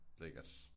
Lækkert